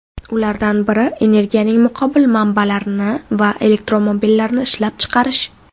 Ulardan biri energiyaning muqobil manbalarini va elektromobillarni ishlab chiqarish.